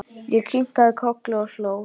Ég kinkaði kolli og hló.